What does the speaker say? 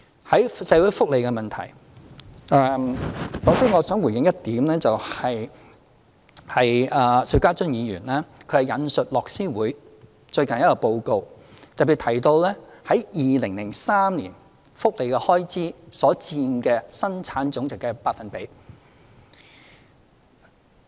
在社會福利問題方面，首先我想回應一點，邵家臻議員引述樂施會最近一個報告，特別提到在2003年福利開支所佔本地生產總值的百分比。